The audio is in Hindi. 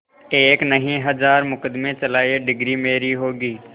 एक नहीं हजार मुकदमें चलाएं डिगरी मेरी होगी